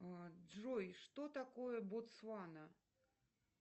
джой что такое ботсвана